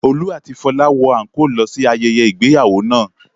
Olú àti Fọlá wọ àńkóò lọ sí ayẹyẹ ìgbéyàwó náà.